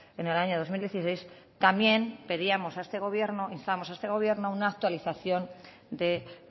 en el año dos mil dieciséis también pedíamos a este gobierno instábamos a este gobierno a una actualización de